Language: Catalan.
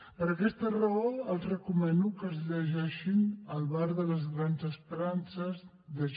per aquesta raó els recomano que es llegeixin el bar de les grans esperances de j